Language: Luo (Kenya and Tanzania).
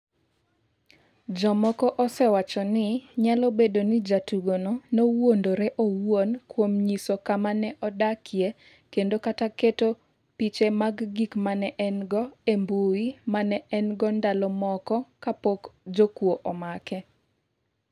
Jomoko osewacho ni nyalo bedo ni jatugono nowuondore owuon kuom nyiso kama ne odakie kendo kata keto piche mag gik ma ne en-go e mbui ma ne en-go ndalo moko kapok jokuo omake.